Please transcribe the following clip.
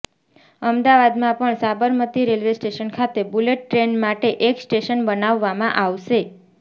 અમદાવાદમાં પણ Sabarmati railway station ખાતે બુલેટ ટ્રેન માટે એક સ્ટેશન બનાવવામાં આવશે